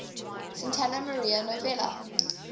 santa maria novella